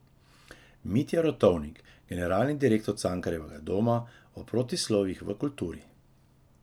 Mitja Rotovnik, generalni direktor Cankarjevega doma, o protislovjih v kulturi.